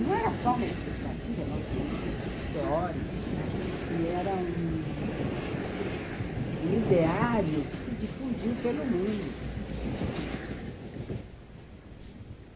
Não era só uma expectativa, nós tínhamos estudos teóricos, né, e era um um ideário que se difundiu pelo mundo.